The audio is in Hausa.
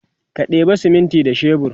ka ɗeba siminti da shebur